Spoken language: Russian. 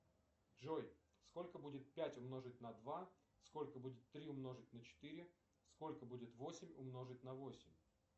джой сколько будет пять умножить на два сколько будет три умножить на четыре сколько будет восемь умножить на восемь